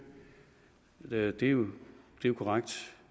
er det jo korrekt